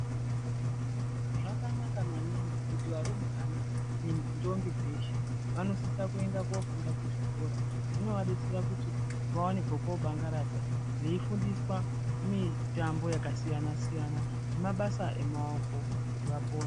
Zvakanaka maningi kuti varumbwana nendombi dzeshe vanosisa kuenda kofunda kuchikora. Zvinoadetsera kuti vaone pekobangaradza veifundiswa mitambo yakasiyana siyana nemabasa emaoko kuti vapone.